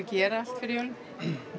gera allt fyrir jólin